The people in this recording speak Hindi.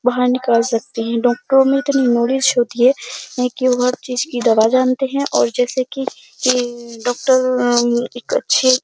बाहर निकाल सकते हैं। डॉक्टरो में इतनी न्वोलेज होती है की वो हर चीज की दवा जानते हैं और जैसे की डॉक्टर उम एक अच्छे --